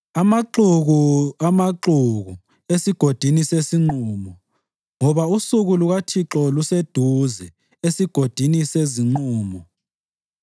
Amaxuku, amaxuku esigodini sesinqumo! Ngoba usuku lukaThixo luseduze esigodini sezinqumo.